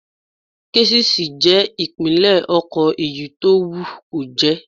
Késìsì ni ìpínlẹ̀ ọkọ̀ èyí tó wù kó jẹ́